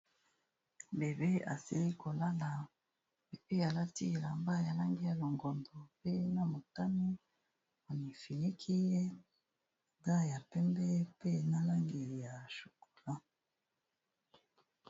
Bebe asali kolala pe alati elamba ya lange ya longondo pe na motami onifenaki ye ada ya pembe pe na langeli ya chokola.